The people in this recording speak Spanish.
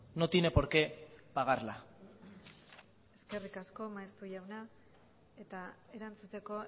no tiene por qué pagarla eskerrik asko maeztu jauna eta erantzuteko